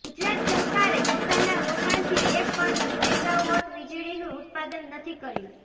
ગુજરાત સરકારે પોતાના રોકાણથી એક પણ મેગાવોટ વીજળીનું ઉત્પાદન નથી કર્યું